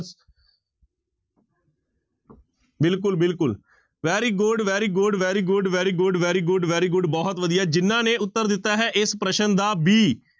ਬਿਲਕੁਲ ਬਿਲਕੁਲ very good, very good, very good, very good, very good, very good ਬਹੁਤ ਵਧੀਆ ਜਿਹਨਾਂ ਨੇ ਉੱਤਰ ਦਿੱਤਾ ਹੈ ਇਸ ਪ੍ਰਸ਼ਨ ਦਾ b